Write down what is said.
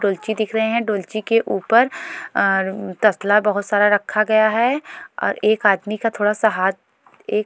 डोलची दिख रहे हैं डोलची के ऊपर अ ठसला बहुत सारा रखा गया हैं और एक आदमी का थोडासा हाथ एक --